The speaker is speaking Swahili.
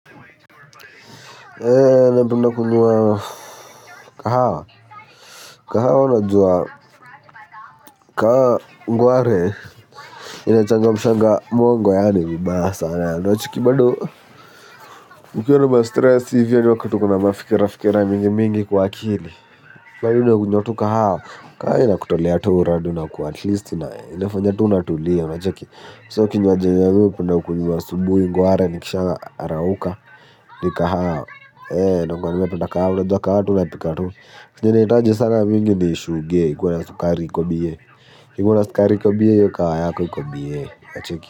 Kahawa, kahawa unajua, kahawa ngware, inaachanga mshangao mongo yaani vibaya sana unacheki bado, ukiwa na mastress hivyo ni wakati uko na mafikira mingi mingi kwa akili. Kahawa, kahawa inakutolea tu uradi unakuwa atleast ina, inafanya tu unatulia, unacheki. So kinywaji yenye mi hupenda kunywa asubuhi ngware nikisharauka, ni kahawa, ee, nakuanga nimependa kahawa unajua kahawa tu unapika tu. Na inahitaji sana mingi ni shuge iko na sukari iko bie. Ikona sukari iko bie iyo kahawa yako bie unacheki.